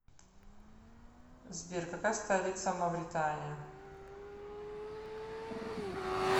сбер какая столица мавритания